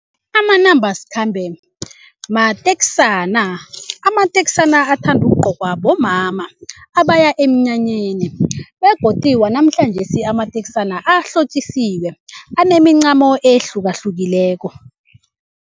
Amanambasikhambe mateksana amateksana athanda ukugcokwa bomama abaya emnyanyeni begodu wanamhlanjesi amateksana ahlotjisiweko anemincamo ehlukahlukileko.